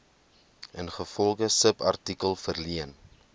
ingevolge subartikel verleen